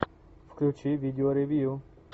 включи видео ревью